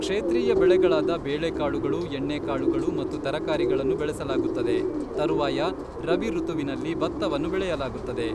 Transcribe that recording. ಕ್ಷೇತ್ರೀಯ ಬೆಳೆಗಳಾದ ಬೇಳೆಕಾಳುಗಳು, ಎಣ್ಣೆಕಾಳುಗಳು ಮತ್ತು ತರಕಾರಿಗಳನ್ನು ಬೆಳೆಸಲಾಗುತ್ತದೆ, ತರುವಾಯ ರಬಿ ಋತುವಿನಲ್ಲಿ ಭತ್ತವನ್ನು ಬೆಳೆಯಲಾಗುತ್ತದೆ.